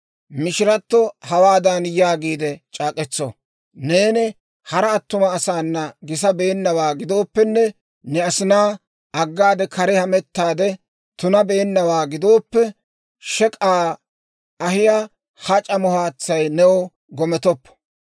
Mishirato hawaadan yaagiide c'aak'k'etso; «Neeni hara attuma asaana gisabeennawaa gidooppenne, ne asinaa aggaade kare hamettaade tunabeennawaa gidooppe, shek'k'aa ahiyaa ha c'amo haatsay new gometoppo.